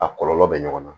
A kɔlɔlɔ bɛ ɲɔgɔn na